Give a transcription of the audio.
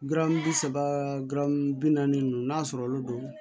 Garamu bi saba bi naani ninnu n'a sɔrɔlo do